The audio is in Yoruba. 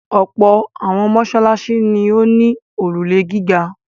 Ọ̀pọ̀ àwọn mọ́ṣáláṣí ni ó ní òrùlé gíga.